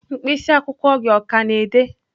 mkpịsị akwụkwọ gị ọ ka na-ede?